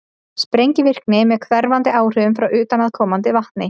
sprengivirkni með hverfandi áhrifum frá utanaðkomandi vatni